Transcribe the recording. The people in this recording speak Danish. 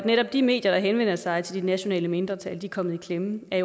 netop de medier der henvender sig til de nationale mindretal er kommet i klemme er